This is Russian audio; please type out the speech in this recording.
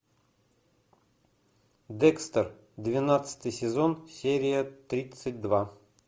декстер двенадцатый сезон серия тридцать два